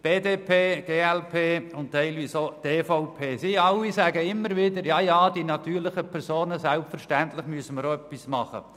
Die BDP, die glp und teilweise auch die EVP: Sie alle sagen immer wieder, man müsse selbstverständlich bei den natürlichen Personen auch etwas unternehmen.